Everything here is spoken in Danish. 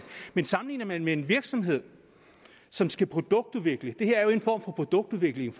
men sammenligner man med en virksomhed som skal produktudvikle det her er jo en form for produktudvikling